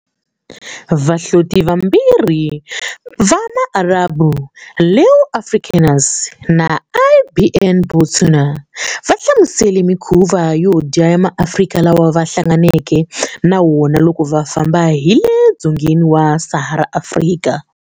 Vahloti vambirhi va Maarabu, Leo Africanus na Ibn Battuta, va hlamusele mikhuva yo dya ya MaAfrika lawa va hlanganeke na wona loko va famba hi le dzongeni wa Sahara Afrika.